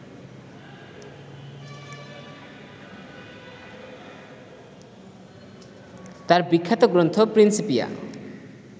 তার বিখ্যাত গ্রন্থ প্রিন্সপিয়া